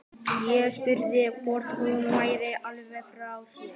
Ég spurði hvort hún væri alveg frá sér.